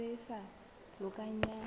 tshebediso e sa lokang ya